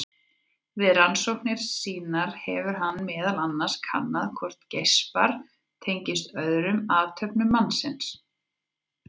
Við rannsóknir sínar hefur hann meðal annars kannað hvort geispar tengist öðrum athöfnum mannsins.